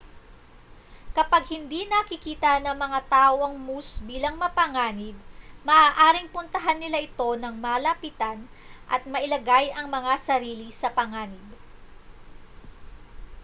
kapag hindi nakikita ng mga tao ang moose bilang mapanganib maaaring puntahan nila ito nang malapitan at mailagay ang mga sarili sa panganib